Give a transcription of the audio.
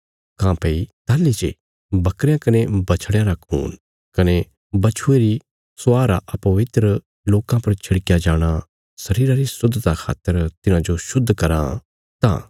काँह्भई ताहली जे बकरयां कने बछड़यां रा खून कने बच्छुये री स्वाह रा अपवित्र लोकां पर छिड़कया जाणा शरीरा री शुद्धता खातर तिन्हांजो शुद्ध कराँ